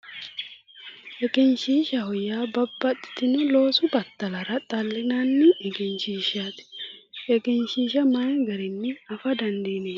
Egenshiishshaho yaa babbaxxitino loosu battalara xallinanni egenshiishshaati. Egenshiishsha mayi garinni afa dandiineemmo?